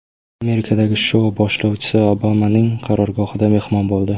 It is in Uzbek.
Amerikadagi shou boshlovchisi Obamaning qarorgohida mehmon bo‘ldi.